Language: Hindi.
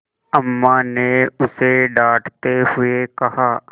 अम्मा ने उसे डाँटते हुए कहा